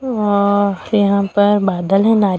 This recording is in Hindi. वहां और यहां पर बादल हैं नारियल--